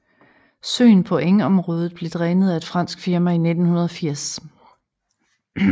Søen på engområdet blev drænet af et fransk firma i 1980